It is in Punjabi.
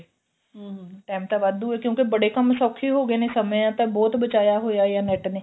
ਹਮ time ਤਾਂ ਵਾਧੂ ਏ ਕਿਉਂਕਿ ਬੜੇ ਕੰਮ ਸੋਖੇ ਹੋ ਗਏ ਨੇ ਸਮਾਂ ਤਾਂ ਬਹੁਤ ਬਚਾਇਆ ਹੋਇਆ ਏ ਨੈੱਟ ਨੇ